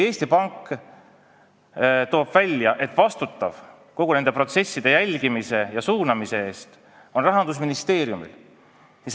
Eesti Pank on toonud välja, et vastutav kõigi nende protsesside jälgimise ja suunamise eest on Rahandusministeerium.